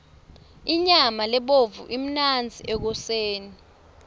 inyama lebovu imnandzi ekoseni